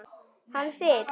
Hann sitt.